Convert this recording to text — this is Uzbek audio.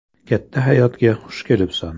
Katta hayotga xush kelibsan.